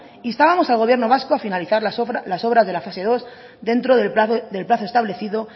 instábamos al gobierno vasco a finalizar las obras de la fase dos dentro del plazo establecido